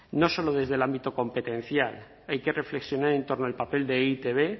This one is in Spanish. no solo desde el ámbito competencial hay que reflexionar en torno al papel de e i te be